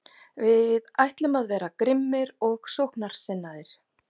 Við ætlum að vera grimmir og sóknarsinnaðir.